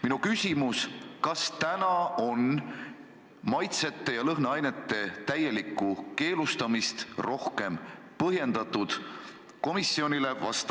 Minu küsimus: kas maitse- ja lõhnaainete täielikku keelustamist on komisjonile rohkem põhjendatud?